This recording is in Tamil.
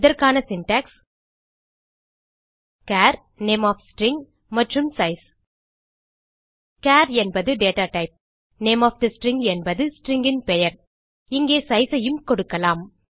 இதற்கான syntax char name of string மற்றும் சைஸ் சார் என்பது data type name of the string என்பது ஸ்ட்ரிங் பெயர் இங்கே sizeஐயும் கொடுக்கலாம்